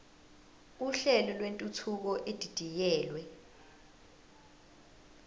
uhlelo lwentuthuko edidiyelwe